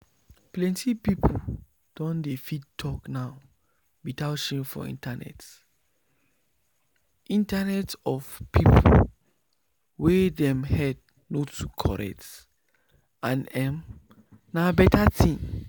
plenty people don dey fit talk now without shame for internet internet of people wey dem head no too correct and emm na better thing